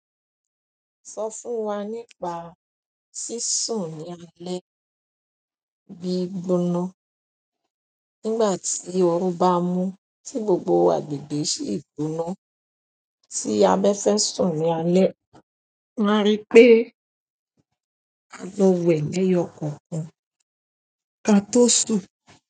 Sọ fún wa nípa sísùn ní alẹ́ gbígbóná. Nígbà tí ooru bá mú tí gbogbo agbègbè ṣì gbóná, tí a bá fẹ́ sùn ní alẹ́. Màá ri pé a lọ wẹ̀ lẹ́yọ kọ̀ọ̀kan ká tó sùn.